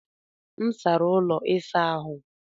M sara ụlọ ịsa ahụ.